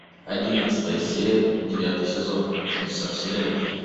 одиннадцатая серия девятый сезон чудеса вселенной